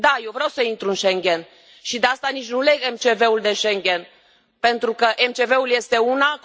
Da, eu vreau să intru în Schengen și de asta nici nu leg MCV ul de Schengen, pentru că MCV ul este una.